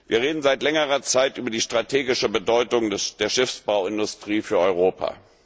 Wir reden seit längerer Zeit über die strategische Bedeutung der Schiffsbauindustrie für Europa.